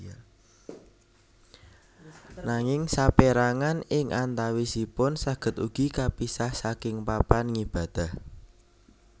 Nanging sapérangan ing antawisipun saged ugi kapisah saking papan ngibadah